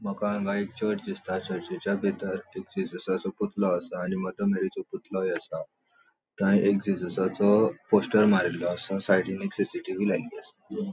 मका हांगा एक चर्च दिसता. चर्चीच्या भितर एक जीजसाचो पुतलों असा आणि मदर मेरीसो पुतलोंइ असा थय एक जीजसाचो पोस्टर मारीललो असा साइडीन एक सीसीटीवी लायल्ली असा.